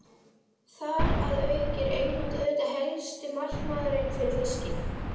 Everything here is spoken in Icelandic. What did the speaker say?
Þar að auki er England auðvitað helsti markaðurinn fyrir fiskinn.